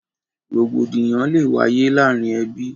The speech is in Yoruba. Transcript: Rògbòdìyàn lè wáyé láàrin ẹbí